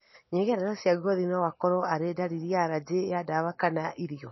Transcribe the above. Nyegerera cia ngothi noikorwo arĩ ndariri ya arajĩ ya ndawa kana irio